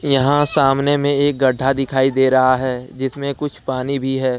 यहां सामने में एक गड्ढा दिखाई दे रहा है जिसमें कुछ पानी भी है।